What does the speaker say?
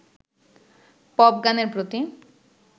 pop গানের প্রতি